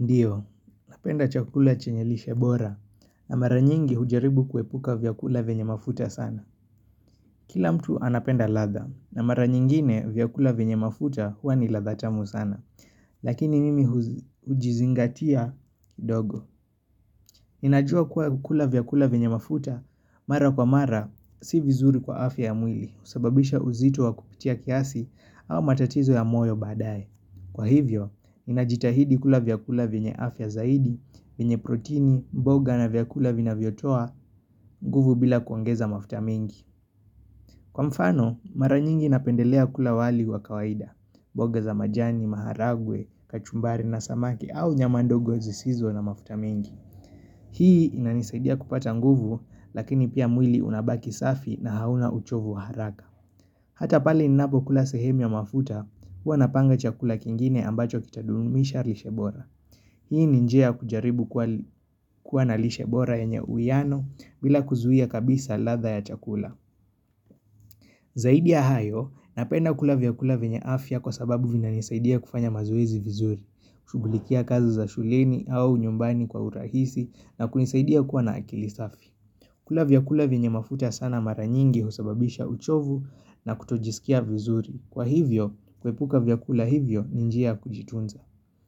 Ndio, napenda chakula chenye lishebora na mara nyingi hujaribu kuhepuka vyakula vyenye mafuta sana. Kila mtu anapenda ladha na mara nyingine vyakula venye mafuta huwa ni ladha tamu sana. Lakini mimi hujizingatia dogo. Ninajua kuwa kukula vyakula vyenye mafuta mara kwa mara si vizuri kwa afya ya mwili husababisha uzito wa kupitia kiasi au matatizo ya moyo baadaye. Kwa hivyo, ninajitahidi kula vyakula vyenye afya zaidi, vyenye protini, mboga na vyakula vinavyotoa, nguvu bila kuongeza mafuta mengi. Kwa mfano, mara nyingi napendelea kula wali wa kawaida, mboga za majani, maharagwe, kachumbari na samaki au nyama ndogo zisizo na mafuta mengi. Hii inanisaidia kupata nguvu, lakini pia mwili unabaki safi na hauna uchovu wa haraka. Hata pale ninapo kula sehemu ya mafuta huwa napanga chakula kingine ambacho kitadumisha lishebora. Hii ni njia ya kujaribu kuwa na lishebora yenye uiyano bila kuzuia kabisa ladha ya chakula. Zaidi ya hayo napenda kula vyakula vyenye afya kwa sababu vinanisaidia kufanya mazuezi vizuri. Shughulikia kazi za shuleni au nyumbani kwa urahisi na kunisaidia kuwa na akili safi. Kula vyakula vyenye mafuta sana mara nyingi husababisha uchovu na kutojisikia vizuri. Kwa hivyo, kuhepuka vyakula hivyo ni njia ya kujitunza.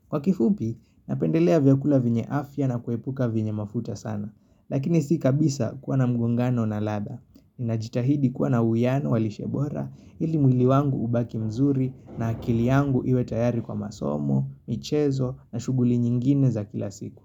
Kwa kifupi, napendelea vyakula vyenye afya na kuhepuka vyenye mafuta sana. Lakini si kabisa kuwa na mgungano na ladha. Ninajitahidi kuwa na uwiano walishe bora ili mwili wangu ubaki mzuri na akili yangu iwe tayari kwa masomo, michezo na shuguli nyingine za kila siku.